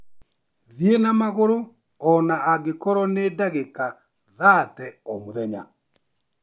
Thiĩ na magũrũ o na angĩkorũo nĩ ndagĩka thate o mũthenya.